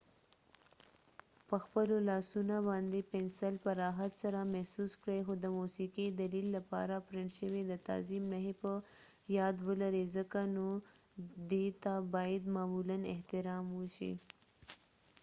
پخپلو لاسونه باندې پنسل په راحت سره محسوس کړئ خو د موسیقې دلیل لپاره پرنټ شوي د تعظیم نښې په یاد ولرئ ځکه نو دې ته باید معمولاً احترام وشي